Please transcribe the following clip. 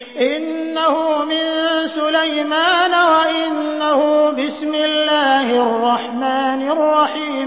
إِنَّهُ مِن سُلَيْمَانَ وَإِنَّهُ بِسْمِ اللَّهِ الرَّحْمَٰنِ الرَّحِيمِ